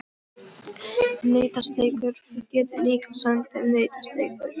Nautasteikur, þú getur líka sent þeim nautasteikur.